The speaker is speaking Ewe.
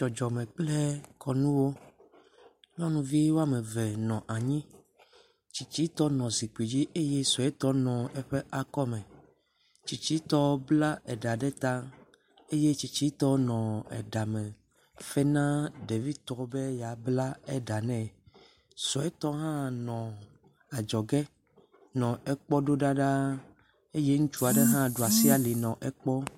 Dzɔdzɔme kple kɔnuwo. Nyɔnuvi wo ame eve nɔ anyi. Tsitsitɔ nɔ zikpui dzi eye suetɔ nɔ eƒe akɔme. Tsitsitɔ bla eɖa ɖe ta eye tsitsitɔ nɔ eɖame fe na ɖevitɔ be yeabla eɖa nɛ. Suetɔ hã nɔ adzɔge nɔ ekpɔ ɖo ɖa ɖaa. Eye ŋutsu aɖe hã ɖo asi ali nɔ ekpɔm.